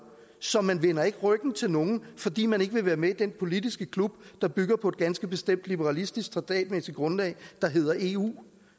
så man vender ikke ryggen til nogen fordi man ikke vil være med i den politiske klub der bygger på et ganske bestemt liberalistisk traktatmæssigt grundlag der hedder eu